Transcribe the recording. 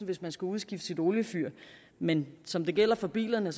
hvis man skal udskifte sit oliefyr men som det gælder for bilerne